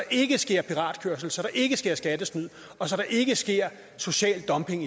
ikke sker piratkørsel så der ikke sker skattesnyd og så der ikke sker social dumping